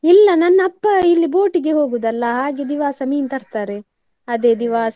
ಇಲ್ಲ ನನ್ನ ಅಪ್ಪ ಇಲ್ಲಿ boat ಇಗೆ ಹೋಗುದು ಅಲ್ಲ ಹಾಗೆ ದಿವಾಸ ಮೀನ್ ತರ್ತಾರೆ, ಅದೇ ದಿವಾಸ.